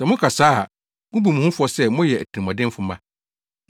Sɛ moka saa a, mubu mo ho fɔ sɛ moyɛ atirimɔdenfo mma.